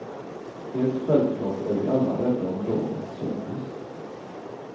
Helt självklart är vi alla rädda om dagens service.